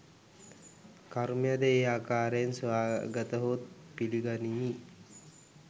කර්මයද ඒ ආකාරයෙන් සොයාගතහොත් පිළිගනිමි